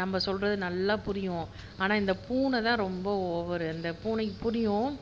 நம்ம சொல்றதை நல்லா புரியும் ஆனா இந்த பூனை தான் ரொம்ப ஓவர் அந்த பூனைக்கு புரியும்